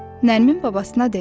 Nərmin babasına dedi.